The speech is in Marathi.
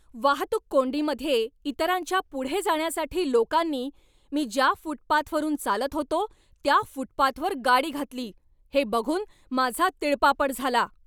वाहतूक कोंडीमध्ये इतरांच्या पुढे जाण्यासाठी लोकांनी मी ज्या फुटपाथवरून चालत होतो त्या फुटपाथवर गाडी घातली हे बघून माझा तिळपापड झाला.